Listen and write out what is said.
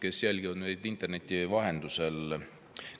Head inimesed, kes te jälgite meid interneti vahendusel!